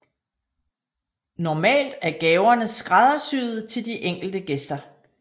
Normalt er gaverne skræddersyede til de enkelte gæster